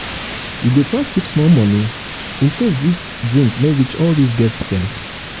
you go try keep small moni incase di drink no reach um all di guest dem.